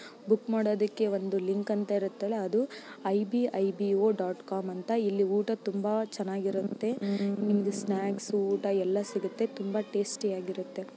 Book ಮಾಡೊದಕ್ಕೆ ಒಂದು link ಅಂತ ಇರುತ್ತಲ್ಲಾ ಅದು ಐ.ಬಿ.ಐ.ಬಿ.ಓ. ಕಾಮ್ ಅಂತ ಇಲ್ಲಿ ಊಟ ತುಂಬಾ ಚೆನ್ನಾಗಿರುತ್ತೆ. ನಿಮ್ಮಗೆ ಸ್ನಾಕ್ಸ್ ಊಟ ಎಲ್ಲ ಸಿಗುತ್ತೆ ತುಂಬಾ ಟೇಸ್ಟಿಯಾಗಿರುತ್ತೆ.